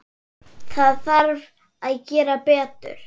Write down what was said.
Það þarf að gera betur.